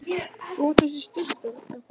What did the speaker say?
Þú ert þessi Stubbur, er það ekki?